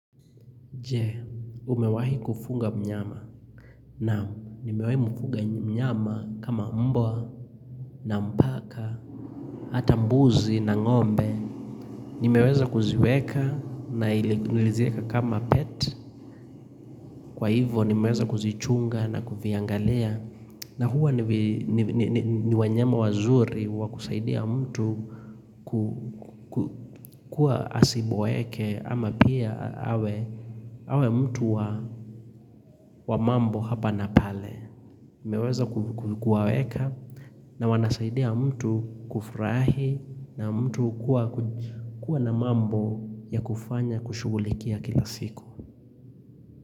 Je, umewahi kufuga mnyama? Naam, nimewahi mfuga mnyama kama mbwa na paka, hata mbuzi na ngombe. Nimeweza kuziweka na niliziweka kama pet. Kwa hivyo, nimeweza kuzichunga na kuviangalia. Na huwa ni wanyama wazuri wa kusaidia mtu kuwa asiboeke ama pia awe awe mtu wa wa mambo hapa na pale. Nimeweza kuwaweka na wanasaidia mtu kufurahi na mtu kuwa kuwa na mambo ya kufanya kushughulikia kila siku.